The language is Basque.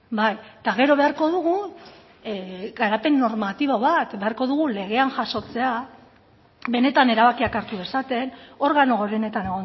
bai eta gero beharko dugu garapen normatibo bat beharko dugu legean jasotzea benetan erabakiak hartu dezaten organo gorenetan